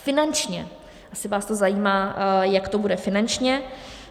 Finančně, jestli vás to zajímá, jak to bude finančně.